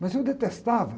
Mas eu detestava.